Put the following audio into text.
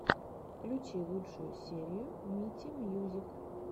включи лучшую серию мити мьюзик